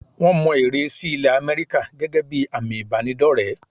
Wọ́n mọ ère sí ilẹ̀ Àmẹ́ríkà gẹ́gẹ́ bí àmì ìbánidọ́rẹ̀ẹ́.